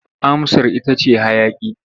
Amsar ita ce hayaƙi.